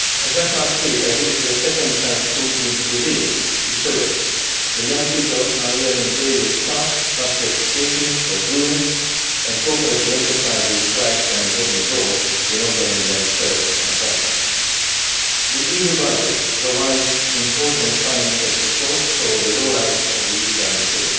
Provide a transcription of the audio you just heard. Just last week I visited a second chance school in Turin, Italy, where young people are learning various crafts such as baking or brewing, and cooperative enterprises play an important role in offering them first employment. The EU budget provides important financial support for the roll out of the Youth Guarantee.